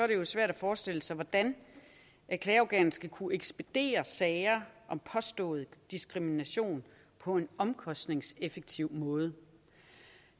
det svært at forestille sig hvordan et klageorgan skal kunne ekspedere sager om påstået diskrimination på en omkostningseffektiv måde